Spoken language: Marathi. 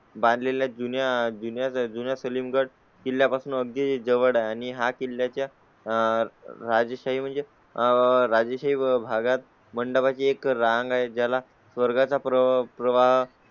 बांध लेल्या जुन्या जुन्या जुन्या सलीम गड दिल्या पासून अगदी जवळ आहे आणि हा किल्ल्या च्या आह राजस्थानी म्हणजे राजेशाही भागात भंडारा ची एक रांग आहे. ज्या ला वर्गाचा प्रवाह